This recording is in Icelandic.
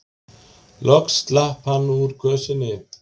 Loks slapp hann úr kösinni.